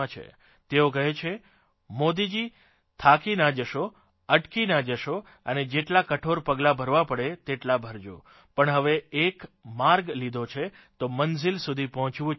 તેઓ કહે છે મોદીજી થાકી ના જશો અટકી ના જશો અને જેટલા કઠોર પગલાં ભરવા પડે તેટલા ભરજો પણ હવે એકવાર માર્ગ લીધો છે તો મંઝીલ સુધી પહોંચવું જ છે